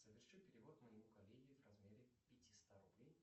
соверши перевод моему коллеге в размере пятиста рублей